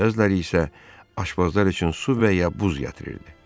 Bəziləri isə aşbazlar üçün su və ya buz gətirirdi.